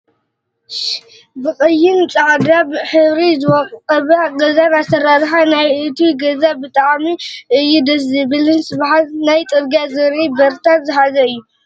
ብቀይን ፃዕዳ ሕብሪ ዝወቀበ ገዛን ኣሰራርሓ ናይ እቱይ ገዛ ብጣዕማ እዩ ደስ ዝብልን ስሓብን ናብ ፅርግያ ዝርኢ በርታት ዝሓዘን እዩ።